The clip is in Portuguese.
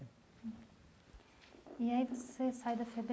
E aí você sai da FEBEM